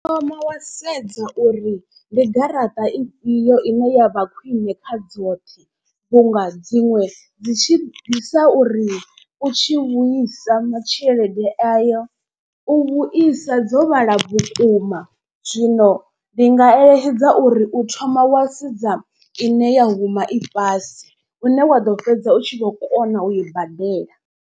U thoma wa sedza uri ndi garaṱa ifhio ine ya vha khwine kha dzoṱhe. Vhunga dzinwe dzi tshi bvisa uri u tshi vhuisa ma tshelede ayo u vhuisa dzo vhala vhukuma. Zwino ndi nga eletshedza uri u thoma wa sedza ine ya huma i fhasi hune waḓo fhedza u tshi vho kona u i badela.